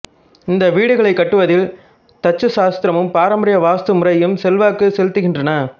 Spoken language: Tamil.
இந்த வீடுகளைக் கட்டுவதில் தச்சு சாஸ்திரமும் பாரம்பரிய வாஸ்து முறையும் செல்வாக்கு செலுத்துகின்றன